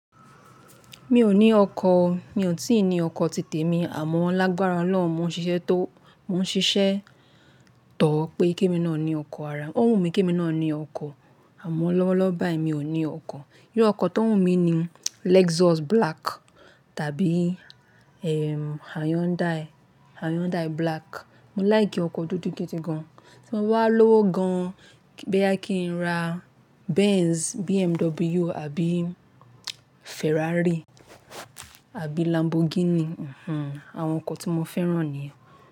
Mi ò ní ọkọ̀, mi ò tí ì ní ọkọ̀ títí mi àmọ́ lágbára Ọlọ́run, mò ń ṣiṣẹ́ tó, mò ń ṣiṣẹ́ tọ̀ ọ́ pé kí mi náà ní ọkọ̀ ara, ó wù mí kí mi náà ní ọkọ̀ àmọ́ lọ́wọ́lọ́wọ́ báyìí mi ò ní ọkọ̀. Bí ọkọ̀ tó wù mí ni Lexus black tàbí ehm Hyundai, Hyundai black. Mo like ọkọ̀ dúdú gidi gan. Tí mo bá lówó gan, boya kí n ra Benz, BMW àbí Ferrari àbí Lamborghini. Mhmm, àwọn ọkọ̀ tí mo fẹ́ràn nìyẹn.